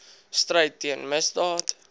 stryd teen misdaad